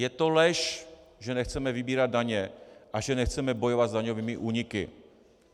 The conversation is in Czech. Je to lež, že nechceme vybírat daně a že nechceme bojovat s daňovými úniky.